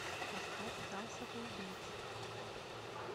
поставь зал самоубийц